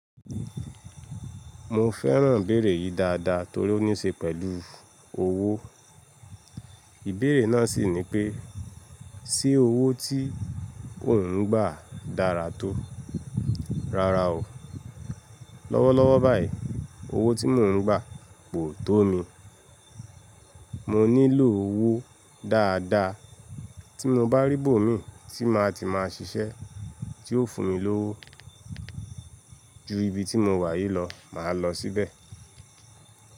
Mo fẹ́ràn ìbéèrè yìí dáadáa torí ó ní ṣe pẹ̀lú owó. Ìbéèrè náà sì ni pé, ṣe owó tí ò ń gbà dára tó? Rárá o. Lọ́wọ́lọ́wọ́ báyìí, owó tí mò ń gbà kò tó mi. Mo nílò owó dáadáa tí mo bá rí ibomi tí màá ti máa ṣiṣẹ́ tí yóò fún mi lówó. Ju ibi tí mo wà yìí lọ màá lọ síbẹ̀.